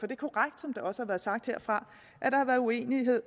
er korrekt som det også er blevet sagt herfra at der har været uenighed